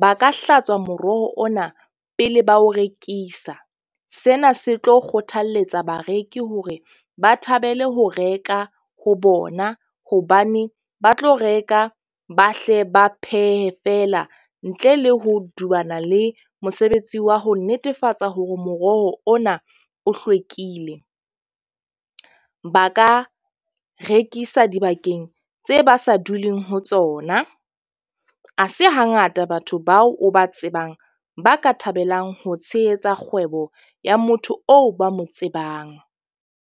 Ba ka hlatswa moroho ona pele ba o rekisa. Sena se tlo kgothaletsa bareki hore ba thabele ho reka ho bona. Hobane ba tlo reka ba hle ba phehe feela ntle le ho dubabana le mosebetsi wa ho netefatsa hore moroho ona o hlwekile. Ba ka rekisa dibakeng tse ba sa duleng ho tsona, ha se hangata batho bao o ba tsebang, ba ka thabelang ho tshehetsa kgwebo ya motho oo ba mo tsebang.